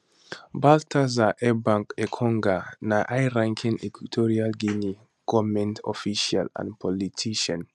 baltasar ebang engonga na highranking equatorial guinean goment official and politician